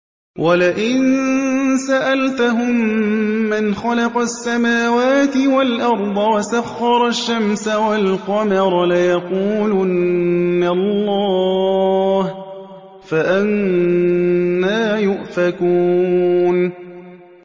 وَلَئِن سَأَلْتَهُم مَّنْ خَلَقَ السَّمَاوَاتِ وَالْأَرْضَ وَسَخَّرَ الشَّمْسَ وَالْقَمَرَ لَيَقُولُنَّ اللَّهُ ۖ فَأَنَّىٰ يُؤْفَكُونَ